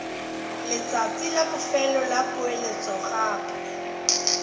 letsatsi la bofelo la poeletsogape